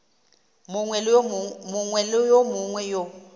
mongwe le yo mongwe yo